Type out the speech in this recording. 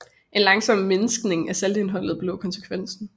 En langsom mindskning af saltindholdet blev konsekvensen